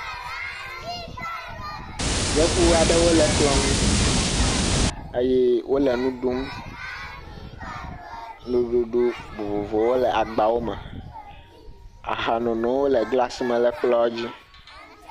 Yevu aɖewo le kplɔ nu eye wole nu ɖum. Nuɖuɖu vovovowo le agbawo me. Ahanono le glasi me le kplɔ dzi.